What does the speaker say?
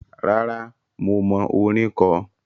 Rárá, mo mọ orin kọ.